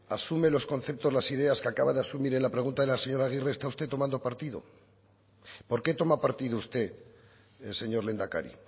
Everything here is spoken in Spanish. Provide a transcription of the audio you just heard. asume los conceptos las ideas que acaba de asumir en la pregunta de la señora agirre está usted tomando partido por qué toma partido usted señor lehendakari